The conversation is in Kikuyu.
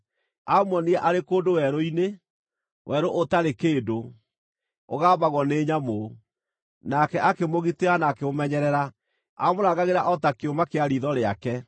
Aamuonire arĩ kũndũ werũ-inĩ, werũ ũtarĩ kĩndũ, ũgambagwo nĩ nyamũ. Nake akĩmũgitĩra na akĩmũmenyerera; aamũrangagĩra o ta kĩũma kĩa riitho rĩake,